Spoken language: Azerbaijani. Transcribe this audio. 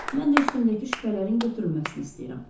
Mən də üstümdəki şübhələrin götürülməsini istəyirəm.